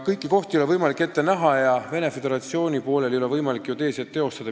Kõiki asju ei ole võimalik ette näha ja Venemaa Föderatsiooni poolel ei ole võimalik ka geodeesiat teostada.